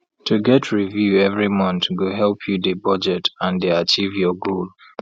to get review every month go help you dey budget and dey achieve your goal